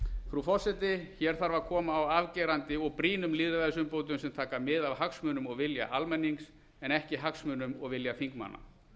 frú forseti hér þarf að koma á afgerandi og brýnum lýðræðisumbótum sem taka mið af hagsmunum og vilja almennings en ekki hagsmunum og vilja þingmanna